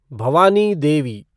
Bhavani Devi